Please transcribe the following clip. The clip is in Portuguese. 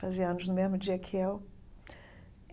Fazia anos no mesmo dia que eu.